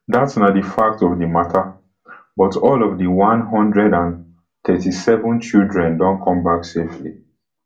dat na di fact of di mata but all of di one hundred and thirty-seven children don come back safely